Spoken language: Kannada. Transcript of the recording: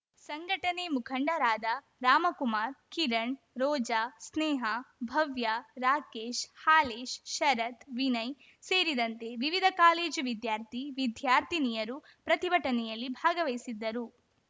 ಸಂಘಟನೆ ಮುಖಂಡರಾದ ರಾಮಕುಮಾರ್ ಕಿರಣ್‌ ರೋಜಾ ಸ್ನೇಹಾ ಭವ್ಯಾ ರಾಕೇಶ್‌ ಹಾಲೇಶ್‌ ಶರತ್‌ ವಿನಯ್‌ ಸೇರಿದಂತೆ ವಿವಿಧ ಕಾಲೇಜು ವಿದ್ಯಾರ್ಥಿ ವಿದ್ಯಾರ್ಥಿನಿಯರು ಪ್ರತಿಭಟನೆಯಲ್ಲಿ ಭಾಗವಹಿಸಿದ್ದರು